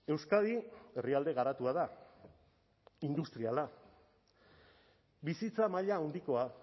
euskadi herrialde garatua da industriala bizitza maila handikoa